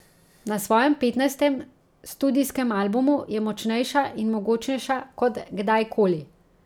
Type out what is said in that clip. Na svojem petnajstem studijskem albumu je močnejša in mogočnejša kot kdajkoli.